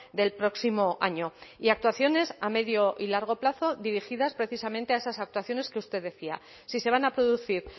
del próximo año y actuaciones a medio y largo plazo dirigidas precisamente a esas actuaciones que usted decía si se van a producir